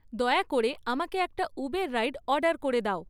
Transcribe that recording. দয়া করে আমাকে একটা উবের রাইড অর্ডার করে দাও